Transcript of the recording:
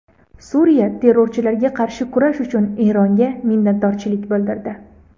Suriya terrorchilarga qarshi kurash uchun Eronga minnatdorchilik bildirdi.